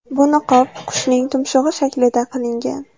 Bu niqob qushning tumshug‘i shaklida qilingan.